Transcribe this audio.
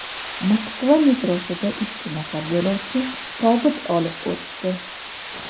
Moskva metrosida ikki nafar yo‘lovchi tobut olib o‘tdi.